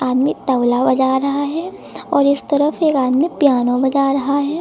आदमी तबला बजा रहा है और इस तरफ एक आदमी पियानो बजा रहा है।